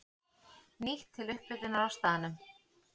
Nýtt til upphitunar á staðnum.